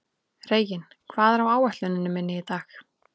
Reginn, hvað er á áætluninni minni í dag?